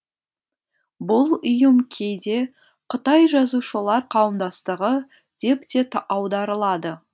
бұл ұйым кейде қытай жазушылар қауымдастығы деп те аударылады